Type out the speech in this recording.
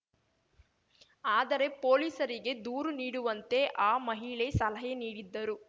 ಆದರೆ ಪೊಲೀಸರಿಗೆ ದೂರು ನೀಡುವಂತೆ ಆ ಮಹಿಳೆ ಸಲಹೆ ನೀಡಿದ್ದರು